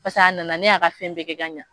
Paseke a nana ne y'a ka fɛn bɛɛ kɛ ka ɲɛ.